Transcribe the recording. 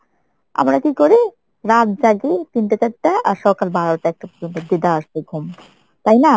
আমরা কি করি? রাত জাগি তিনটা চারটা আর সকাল বারোটা একটা পর্যন্ত দেদারসে ঘুম। তাই না?